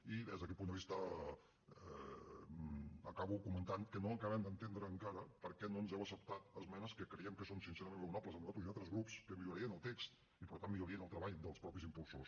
i des d’aquest punt de vista acabo comentant que no acabem d’entendre encara per què no ens heu acceptat esmenes que creiem que són sincerament raonables a nosaltres i a altres grups que millorarien el text i que per tant millorarien el treball dels mateixos impulsors